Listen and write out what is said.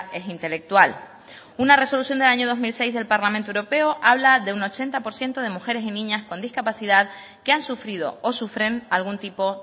es intelectual una resolución del año dos mil seis del parlamento europeo habla de un ochenta por ciento de mujeres y niñas con discapacidad que han sufrido o sufren algún tipo